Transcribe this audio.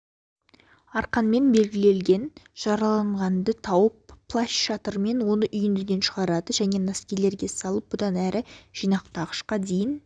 арқанмен белгілелген жараланғанды тауып плащ-шатырмен оны үйіндіден шығарады және носилкилерге салып бұдан әрі жинақтағышқа дейін